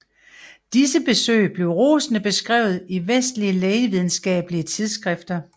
Disse besøg blev rosende beskrevet i vestlige lægevidenskabelige tidsskrifter